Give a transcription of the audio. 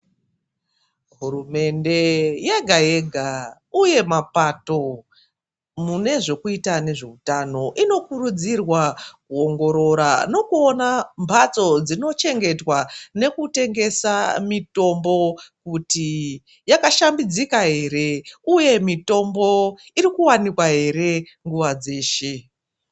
Hurumende yega-yega, uye mapato mune zvekuita nezvehutano inokurudzirwa kuongorora nekuona mhatso dzinochengetwa nekutengesa mitombo kuti yakashambadzika here uye mitombo iri kuwanikwa here nguva dzeshe.